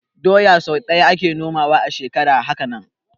Doya sai ɗaya ake noma a shekara, haka nan